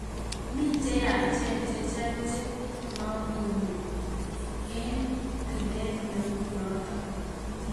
Mi cheyachen chechang che mangune emg tilet neu noto.